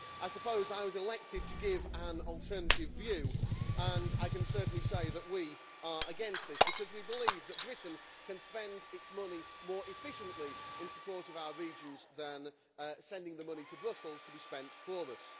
Well I suppose I was elected to give an alternative view and I can certainly say that we are against this because we believe that Britain can spend its money more efficiently in support of our regions than by sending the money to Brussels to be spent for us.